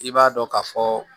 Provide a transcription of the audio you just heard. I b'a dɔn ka fɔ